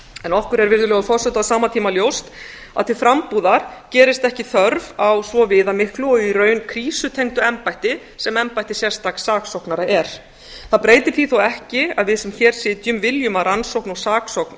en okkur er virðulegi forseti á sama tíma ljóst að til frambúðar gerist ekki þörf á svo viðamiklu og í raun krísutengdu embætti sem embætti sérstaks saksóknara er það breytir því þó ekki að við sem hér sitjum viljum að rannsókn og saksókn